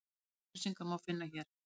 Nánari upplýsingar má finna hér.